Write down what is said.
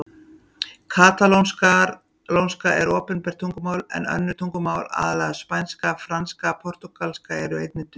Katalónska er opinbert tungumál en önnur tungumál, aðallega spænska, franska og portúgalska, eru einnig töluð.